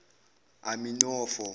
aminofo